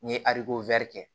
N ye kɛ